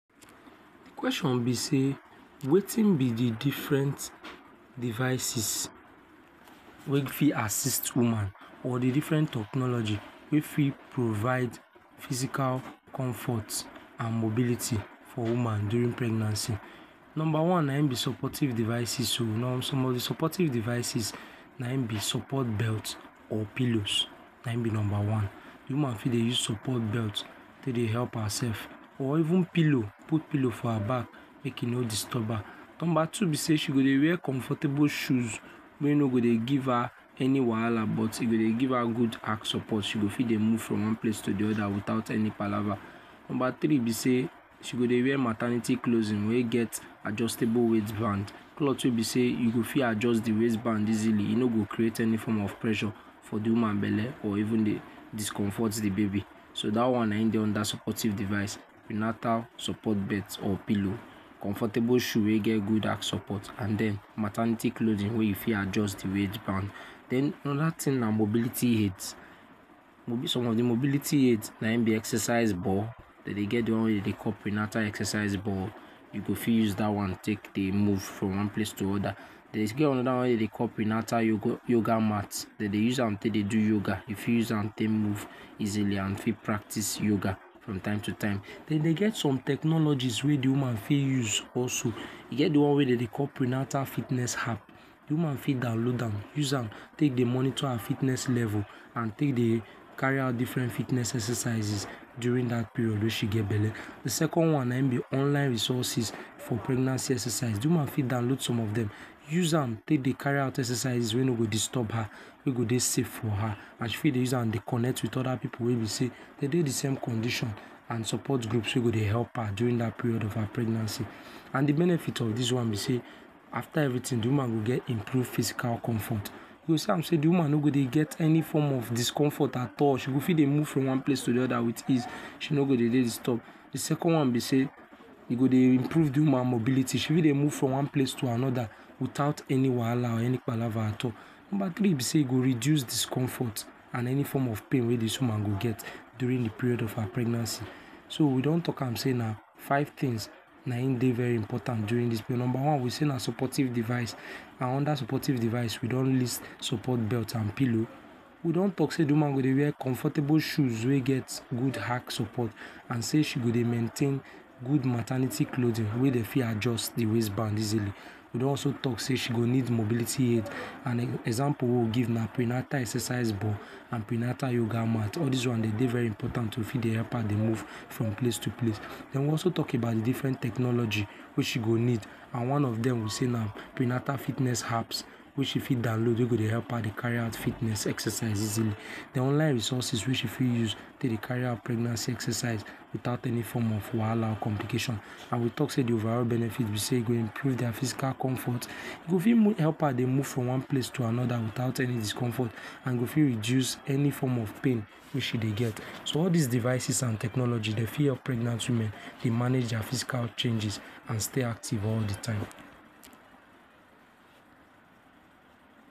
The question be sey wetin be the different devices wey fit assist woman or the different technology wey fit provide physical comfort and mobility for woman during pregnancy number one na im be supportive devices some of the supportive devices na im be support belt or pillows na im be number one the woman fit dey use support belt take dey help herself or even pillow put pillow for her back make w no disturb her number two be say she go dey wear comfortable shoes wey no go dey give her any wahala but e go dey give her good arc support she go fit dey move from one place to the other without any palava number three be say she go dey wear maternity clothing wey get adjustable waist band clothes wey be say e go fit adjust the waist band easily e no go create any for of pressure for the woman belle or even dey discomfort the baby so that one na im dey under supportive device prenatal support birth or pillow comfortable shoe wey get good arc support and then maternity clothing wey you fit adjust the waistband then another thing na mobility aids some of the mobility aids na im be exercise ball dem dey get the one wey dem dey call prenatal exercises ball you go for use that one take dey move from one place to other e get another one wey dey dey call prenatal yoga mat dem dey use am take dey do yoga you fit use am take move easily and you fit practice yoga from time to time dem dey get some technologies wey the woman fit use also e get the one wey dem dey call prenatal fitness app de woman for download am use am take dey monitor her fitness level and take dey carry out different fitness exercises during that period wey she get belle the second one na im be online resources for pregnancy exercise the woman for download some of them use am take dey carry out exercises wey no go disturb her wey go dey safe for her and she for dey use am dey connect with other people wey be say dem dey the same condition and support groups wey go dey help her during that period of her pregnancy and the benefit of this one be say after everything the woman go get improved physical comfort you go see am say the woman no go dey get any form of discomfort at all she go fit dey move from one place to the other with ease she no go dey disturbed the second one be say e go dey improve the woman mobility she fit dey move from one place to another without any wahala or any palava at all number three be say e go reduce discomfort and any form of pain wey this woman go get during the period wey for her pregnancy. so we don talk am saying na five things na im dey very important during this period number one we say na supportive devices and under supportive device we don list support belt and pillow we don talk say the woman go dey wear comfortable shoes wey get good arc support and say she go dey maintain good maternity clothing wey dem fit adjust the waist band easily we don also talk say she go need mobility aids and example wey we give na prenatal exercise ball and prenatal yoga mat all this one dey dey very important to for dey help her to move from place to place den we also talk about the different technology wey she go need and one of them wey say na prenatal fitness apps wey she fit download wey go dey help her dey carry out fitness exercises den online resources wey she fit use dey dey carry out pregnancy exercise without any form of wahala or complication and we talk say the overall benefit be say e go improve their physical comfort e go fit help her dey move from one place to another without any discomfort and e go fit reduce any form of pain wey she dey get so all this devices and technology dey fit help pregnant women dey manage their physical changes and stay active all the time.